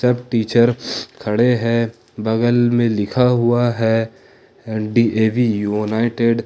सब टीचर खड़े हैं बगल में लिखा हुआ है अह डी_ए_वी यूनाइटेड ।